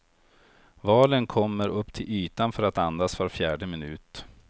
Valen kommer upp till ytan för att andas var fjärde minut.